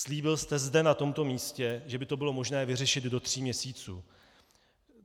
Slíbil jste zde na tomto místě, že by to bylo možné vyřešit do tří měsíců.